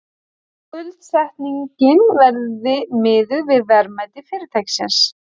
Skuldsetningin verði miðuð við verðmæti fyrirtækisins